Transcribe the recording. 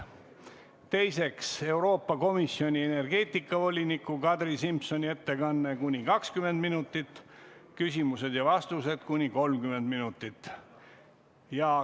Teiseks, Euroopa Komisjoni energeetikavoliniku Kadri Simsoni ettekanne kuni 20 minutit, küsimused ja vastused kuni 30 minutit.